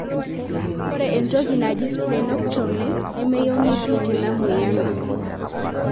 ore entoki naji splenectomy na meyieuni pii tenamoyian.